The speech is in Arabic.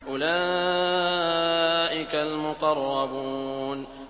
أُولَٰئِكَ الْمُقَرَّبُونَ